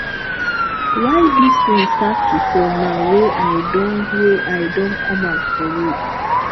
why dis rain start to fall now wey i don wey i don come out for road